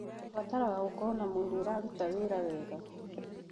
ũbataraga gũkorwo na mwĩrĩ ũraruta wĩra wega